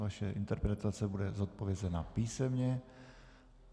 Vaše interpelace bude zodpovězena písemně.